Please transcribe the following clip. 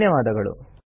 ಧನ್ಯವಾದಗಳು